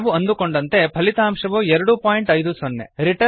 ನಾವು ಅಂದುಕೊಂಡಂತೆ ಫಲಿತಾಂಶವು ಎರಡು ಪಾಯಿಂಟ್ ಐದು ಸೊನ್ನೆ